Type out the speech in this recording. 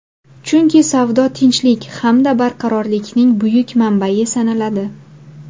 Chunki savdo tinchlik hamda barqarorlikning buyuk manbai sanaladi.